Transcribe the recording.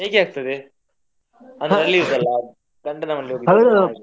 ಹೇಗೆ ಆಗ್ತದೆ ಅಂದ್ರೆ ಅಲ್ಲಿರುದಲ್ಲ ಗಂಡನ ಮನೆಯಲ್ಲಿ ಇರುದಲ್ಲ ಹಾಗೆ.